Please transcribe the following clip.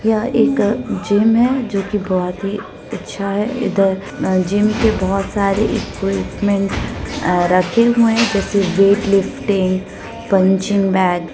यह एक जिम है जो की बहुत ही अच्छा हैै इधर जिम के बहुत सारे इक्विपमेंट रखे हुए हैं जैसे वेट लिफ्टिंग पंचिंग बेग ।